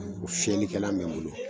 O fiyɛlikɛlan be n bolo